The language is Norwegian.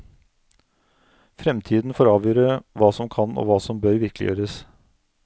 Fremtiden får avgjøre hva som kan og hva som bør virkeliggjøres.